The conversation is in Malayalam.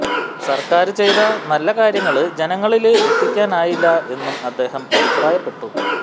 സര്ക്കാര് ചെയ്ത നല്ല കാര്യങ്ങള് ജനങ്ങളില് എത്തിക്കാനായില്ല എന്നും അദ്ദേഹം അഭിപ്രായപ്പെട്ടു